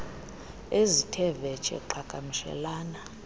ezithe vetshe qhagamshelana